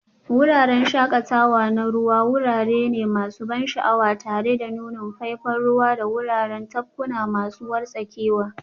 Wuraren shakatawa na ruwa wurare ne masu ban sha'awa tare da nunin faifan ruwa da wuraren tafkuna masu wartsakewa.